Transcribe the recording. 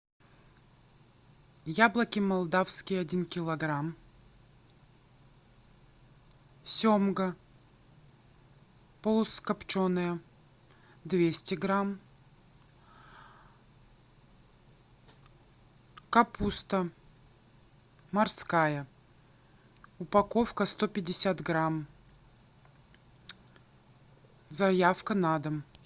яблоки молдавские один килограмм семга полукопченая двести грамм капуста морская упаковка сто пятьдесят грамм заявка на дом